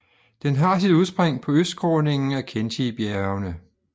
Den har sit udspring på østskråningen af Khentijbjergene